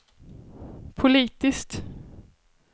politiskt